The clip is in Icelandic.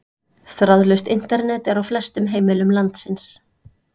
Þráðlaust Internet er á flestum heimilum landsins.